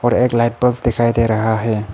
और एक light bulb दिखाई दे रहा है।